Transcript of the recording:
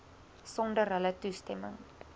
sonder hulle toestemming